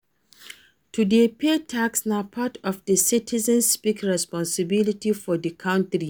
To dey pay tax na part of di citizens civic responsibility for di country